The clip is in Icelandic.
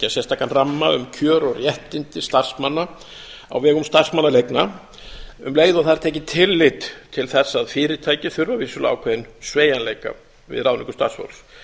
sérstakan ramma um kjör og réttindi starfsmanna á vegum starfsmannaleigna um leið og það er tekið tillit til þess að fyrirtæki þurfa vissulega ákveðinn sveigjanleika við ráðningu starfsfólks